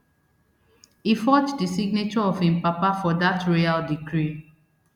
e forge di signature of im papa for dat royal decree